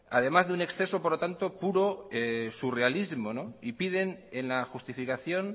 además de un exceso por lo tanto puro surrealismo y piden en la justificación